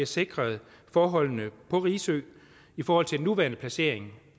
sikret forholdene på risø i forhold til den nuværende placering